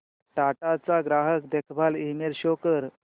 टाटा चा ग्राहक देखभाल ईमेल शो कर